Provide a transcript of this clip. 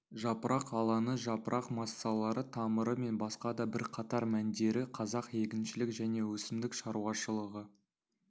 жапырақ алаңы жапырақ массалары тамыры мен басқа да бірқатар мәндері қазақ егіншілік және өсімдік шаруашылығы